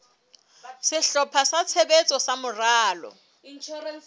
sehlopha sa tshebetso sa moralo